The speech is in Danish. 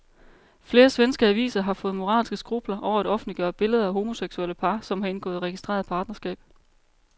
Flere svenske aviser har fået moralske skrupler over at offentliggøre billeder af homoseksuelle par, som har indgået registreret partnerskab.